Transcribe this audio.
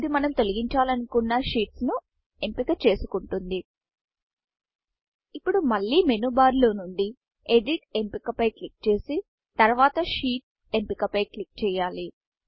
ఇది మనం తొలగించాలనుకున్నsheetsషీట్స్ ను ఎంపిక చేసుకుంటుంది ఇప్పుడు మళ్లీ మేను barమేను బార్ నుండి ఎడిట్ ఎడిట్ఎంపిక పై క్లిక్ చేసి తర్వాత Sheetషీట్ ఎంపిక పై క్లిక్ చేయాలి